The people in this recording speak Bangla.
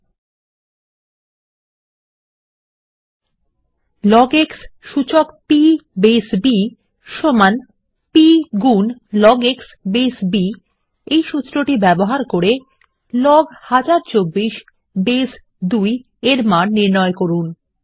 ওগ x সূচক p বেস b সমান্চিহ্ন p গুন লগ x বেস b এবং এই সুত্রটি ব্যবহার করে160 লগ ১০২৪ বেস ২ এর মান নির্ণয় করুন